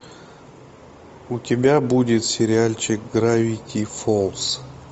у тебя будет сериальчик гравити фолз